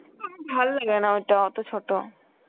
ভাল্লাগে না ওটা অত ছোট